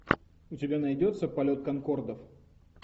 у тебя найдется полет конкордов